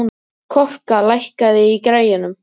Korka, lækkaðu í græjunum.